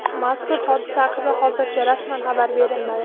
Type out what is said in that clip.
Mazkur hodisa haqida hozircha rasman xabar berilmadi.